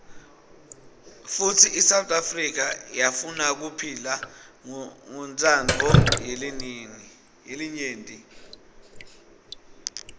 futsi isouth afrika yafunakuphila ngontsandvo yelinyenti